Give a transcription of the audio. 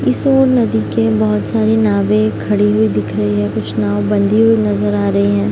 इस ओर नदी के बहोत सारे नावें खड़ी हुई दिख रही हैं कुछ नाव बंधी हुई नजर आ रही हैं।